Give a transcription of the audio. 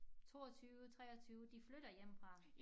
22 23 de flytter hjemmefra